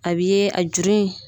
A bi ye a juru in.